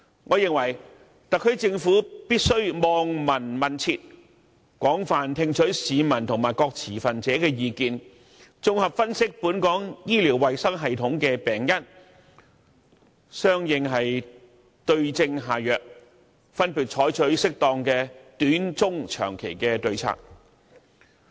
我認為特區政府必須"望聞問切"，廣泛聽取市民和各持份者的意見，綜合分析本港醫療衞生系統的病因，對症下藥，分別採取適當的短、中、長期的對策。